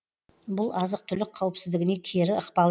бұл азық түлік қауіпсіздігіне кері ықпал